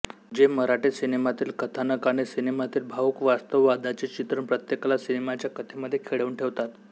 जे मराठी सिनेमातील कथानक आणि सिनेमातील भावूक वास्तव वादाचे चित्रण प्रत्येकाला सिनेमाच्या कथेमध्ये खिळवून ठेवतात